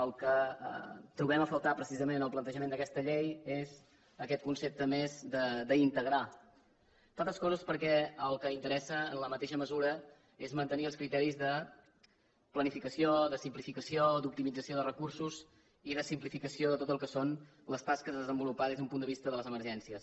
el que trobem a faltar precisament en el plantejament d’aquesta llei és aquest concepte més d’integrar entre altres coses perquè el que interessa en la mateixa mesura és mantenir els criteris de planificació de simplificació d’optimització de recursos i de simplificació de tot el que són les tasques a desenvolupar des d’un punt de vista de les emergències